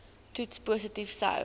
toets positief sou